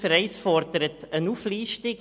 Ziffer 1 fordert eine Auflistung.